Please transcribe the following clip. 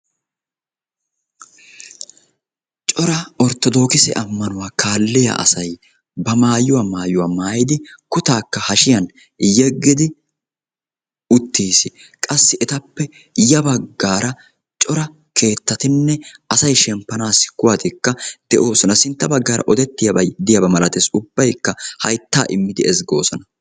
Cora orttoodokise ammanuwaa kaalliyaa asay ba maayuwaa maauywaa maayidi kutaakka hashshiyaan yeggidi uttiis. qassi etappe ya baggaara keettatinne asay shemppaanaassi kuwatikka de'oosona. sintta baggaara odettiyaabay diyaaba malatees. ubbaykka hayttaa immidi ezggoosona.